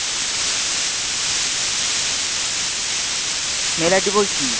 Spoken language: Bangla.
mail ID বলছি।